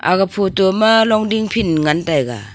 aga photo ma longding field ngan taiga.